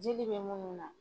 Jeli bɛ minnu na